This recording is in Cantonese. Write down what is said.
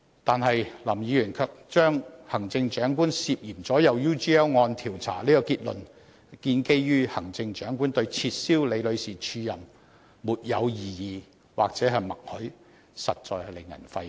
但是，林議員卻基於行政長官對撤銷李女士署任"沒有異議"或"默許"而達致行政長官"涉嫌左右 UGL 案調查"這個結論，實在令人費解。